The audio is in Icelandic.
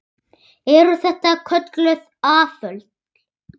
Eru þetta kölluð afföll.